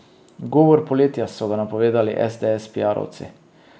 Govor poletja, so ga napovedali esdees piarovci.